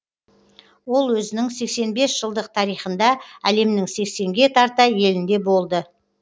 ол өзінің сексен бес жылдық тарихында әлемнің сексенге тарта елінде болды